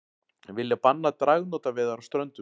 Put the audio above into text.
Vilja banna dragnótaveiðar á Ströndum